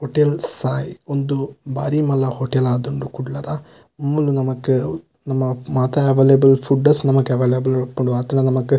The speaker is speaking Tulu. ಹೊಟೇಲ್ ಸಾಯಿ ಉಂದು ಬಾರಿ ಮಲ್ಲ ಹೊಟೇಲ್ ಆತುಂಡು ಕುಡ್ಲದ ಮೂಲು ನಮಕ್ ನಮ ಮಾತ ಅವೈಲೇಬಲ್ ಫುಡ್ಡಸ್ ನಮಕ್ ಅವೈಲೇಬಲ್ ಇಪ್ಪುಂಡು ಆತ್ಲಾ ನಮಕ್--